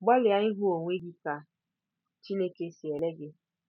Gbalịa ịhụ onwe gị ka Chineke si ele gị.